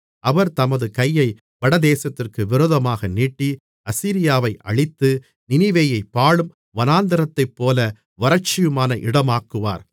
அவர் தமது கையை வடதேசத்திற்கு விரோதமாக நீட்டி அசீரியாவை அழித்து நினிவேயைப் பாழும் வனாந்திரத்தைப்போல வறட்சியுமான இடமாக்குவார்